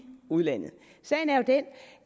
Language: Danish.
udlandet sagen er jo den